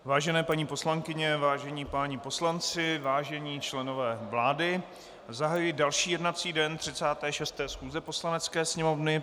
Vážené paní poslankyně, vážení páni poslanci, vážení členové vlády, zahajuji další jednací den 36. schůze Poslanecké sněmovny.